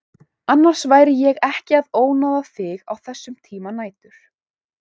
Annars væri ég ekki að ónáða þig á þessum tíma nætur.